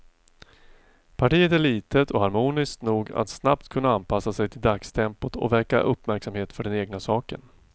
Partiet är litet och harmoniskt nog att snabbt kunna anpassa sig till dagstempot och väcka uppmärksamhet för den egna saken.